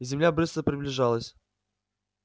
земля быстро приближалась